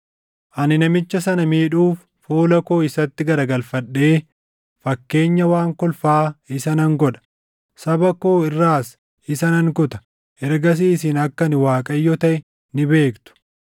Ani namicha sana miidhuuf fuula koo isatti garagalfadhee fakkeenya waan kolfaa isa nan godha. Saba koo irraas isa nan kuta. Ergasii isin akka ani Waaqayyo taʼe ni beektu.